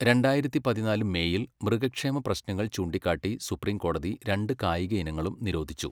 രണ്ടായിരത്തി പതിനാല് മേയിൽ, മൃഗക്ഷേമ പ്രശ്നങ്ങൾ ചൂണ്ടിക്കാട്ടി സുപ്രീം കോടതി രണ്ട് കായിക ഇനങ്ങളും നിരോധിച്ചു.